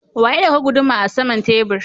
Wa ya dauka guduma are saman tebur?